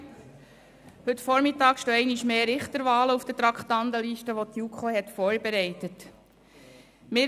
Heute Vormittag stehen einmal mehr Richterwahlen auf der Traktandenliste, die die JuKo vorbereitet hat.